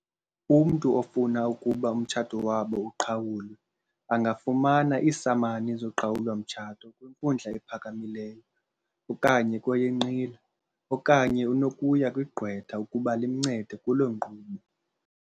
"Umntu ofuna ukuba umtshato wabo uqhawulwe angafumana iisamani zoqhawulo-mtshato kwinkundla ephakamileyo okanye kweyenqila, okanye unokuya kwigqwetha ukuba limncede kulo nkqubo."